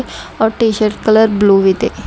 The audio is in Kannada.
ಅವ್ರ್ ಟೀಶರ್ಟ್ ಕಲರ್ ಬ್ಲೂ ಇದೆ.